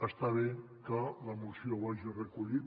està bé que la moció ho hagi recollit